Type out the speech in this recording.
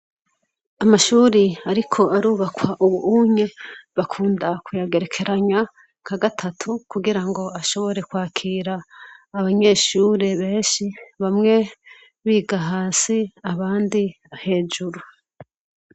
Amashuri ariko arubakwa ubu unye bakunda kuyagerekeranya ka gatatu kugirango ashobore kwakira abanyeshuri benshi bamwe bigahasi abandi hejuru.